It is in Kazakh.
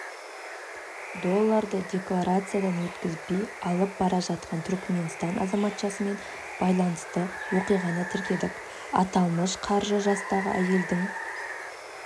долларды декларациядан өткізбей алып бара жатқан түркіменстан азаматшасымен байланысты оқиғаны тіркедік аталмыш қаржы жастағы әйелдің